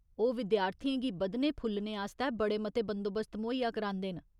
ओह् विद्यार्थियें गी बधने फुल्लने आस्तै बड़े मते बंदोबस्त मुहैया करांदे न।